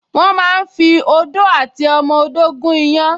Wọ́n máa ń fi odó àti ọmọ odó gún iyán